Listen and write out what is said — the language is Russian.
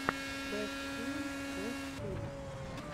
бэст филм бэст фильм